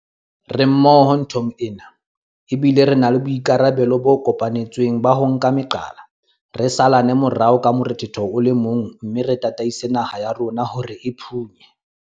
Re mmoho nthong ena, ebile re na le boikarabelo bo kopanetsweng ba ho nka meqala, re salane morao ka morethetho o le mong mme re tataise naha ya rona hore e phunye